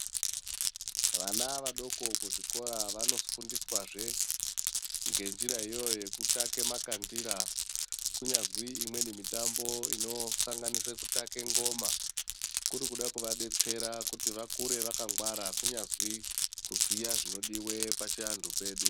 Vana vadoko kuzvikora vanofundiswazve ngenjira iyoyo yekutake makandira kunyazwi imweni mitombo inosanganisira kutake ngoma kuri kuda kuvadetsera kuti vakure vakangwara kunyazwi kuziya zvinodiwa pachiantu chedu.